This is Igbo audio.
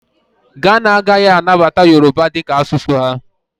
Ghana agaghị anabata Yoroba dị ka asụsụ ha.